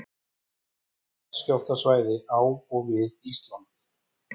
Jarðskjálftasvæði á og við Ísland.